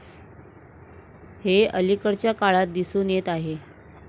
हे अलीकडच्या काळात दिसून येत आहे.